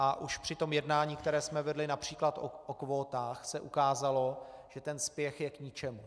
A už při tom jednání, které jsme vedli například o kvótách, se ukázalo, že ten spěch je k ničemu.